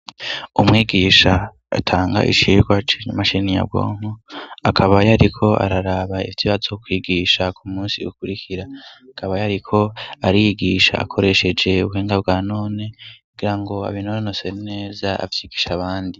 Umwigisha atanga icirwa cinamashini ya bwonko akaba yariko araraba ifit ibatso kwigisha ku munsi ukurikira akaba yariko arigisha akoresheje ubuhenga bwa none gira ngo abinornoseri neza apyigisha abandi.